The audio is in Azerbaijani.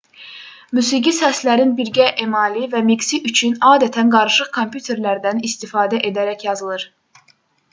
musiqi səslərin birgə emalı və miksi üçün adətən qarışıq kompüterlərdən istifadə edərək yazılır